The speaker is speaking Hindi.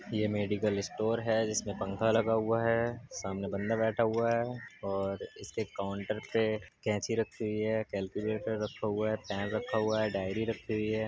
ये मेडिकल स्टोर है जिसमें पंखा लगा हुआ है | सामने बंदा बैठा हुआ है और इसके काउंटर पे कैंची रखी हुई है कैलक्यूलेटर रखा हुआ है पेन रखा हुआ है डायरी रखी हुई है।